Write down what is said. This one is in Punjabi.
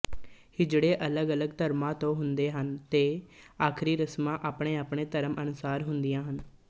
ਹੀਜੜੇ ਅਲੱਗਅਲੱਗ ਧਰਮਾਂ ਤੋਂ ਹੁੰਦੇ ਹਨ ਤੇ ਆਖ਼ਰੀ ਰਸਮਾਂ ਆਪਣੇਆਪਣੇ ਧਰਮ ਅਨੁਸਾਰ ਹੁੰਦੀਆਂ ਹਨ